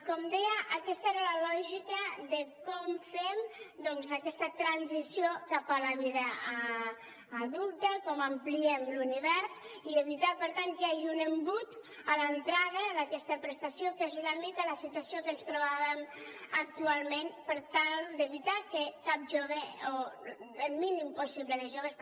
com deia aquesta era la lògica de com fem doncs aquesta transició cap a la vida adulta com ampliem l’univers i evitar per tant que hi hagi un embut a l’entrada d’aquesta prestació que és una mica la situació que ens trobàvem actualment per tal d’evitar que cap jove o el mínim possible de joves